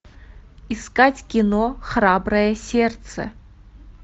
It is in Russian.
искать кино храброе сердце